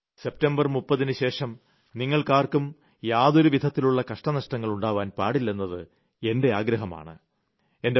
കാരണം സെപ്റ്റംബർ 30ന് ശേഷം നിങ്ങൾക്കാർക്കും യാതൊരുവിധത്തിലുള്ള കഷ്ടനഷ്ടങ്ങൾ ഉണ്ടാവാൻ പാടില്ലെന്നത് എന്റെ ആഗ്രഹമാണ്